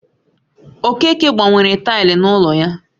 Okeke gbanwere taịlị n'ụlọ ya